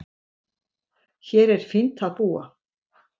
Hér er fínt að búa.